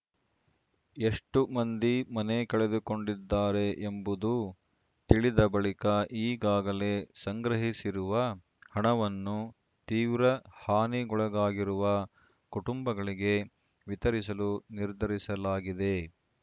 ಎಷ್ಟುಮಂದಿ ಮನೆ ಕಳೆದುಕೊಂಡಿದ್ದಾರೆ ಎಂಬುದು ತಿಳಿದ ಬಳಿಕ ಈಗಾಗಲೇ ಸಂಗ್ರಹಿಸಿರುವ ಹಣವನ್ನು ತೀವ್ರ ಹಾನಿಗೊಳಗಾಗಿರುವ ಕುಟುಂಬಗಳಿಗೆ ವಿತರಿಸಲು ನಿರ್ಧರಿಸಲಾಗಿದೆ